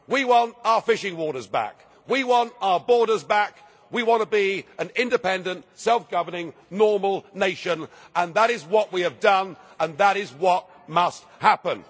We want our fishing waters back, we want our borders back, we want to be an independent, self governing normal nation, and that is what we have done and that is what must happen.